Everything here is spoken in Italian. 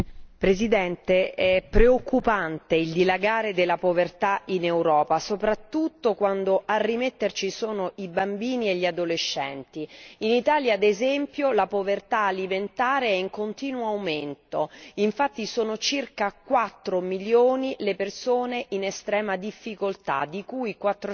È preoccupante il dilagare della povertà in Europa, soprattutto quando a rimetterci sono i bambini e gli adolescenti. In Italia, ad esempio, la povertà alimentare è in continuo aumento infatti sono circa 4000000 le persone in estrema difficoltà, di cui 400000